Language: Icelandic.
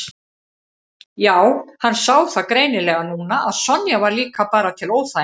Já, hann sá það greinilega núna að Sonja var líka bara til óþæginda.